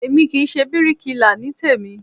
Èmi kì í ṣe bíríkilà ní tèmí